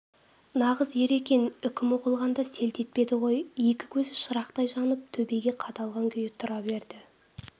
нағыз ер екен үкім оқылғанда селт етпеді ғой екі көзі шырақтай жанып төбеге қадалған күйі тұра берді